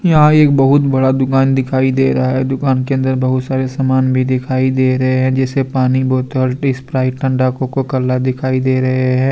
यहां एक बहुत बड़ा दुकान दिखाई दे रहा है दुकान के अंदर बहुत सारे सामान भी दिखाई दे रहे हैं जैसे पानी बोतल स्प्राइट ठंडा कोका कोला दिखाई दे रहे हैं।